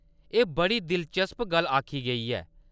एह्‌‌ बड़ी दिलचस्प गल्ल आखी गेई ऐ।